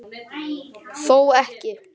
Þó ekki.